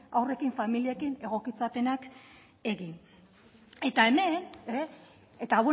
haurrekin familiekin egokitzapenak egin eta hemen eta